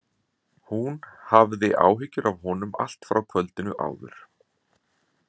Hún hafði haft áhyggjur af honum allt frá kvöldinu áður.